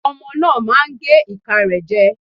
Ọmọ náà á máa gé ìka rẹ̀ jẹ.